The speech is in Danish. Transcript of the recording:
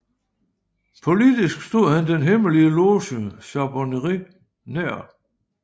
Politisk stod han den hemmelige loge Charbonnerie nær